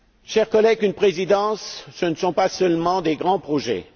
Chers collègues, une présidence, ce ne sont pas seulement des grands projets.